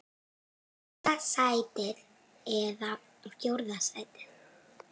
Fyrsta sæti eða fjórða sæti?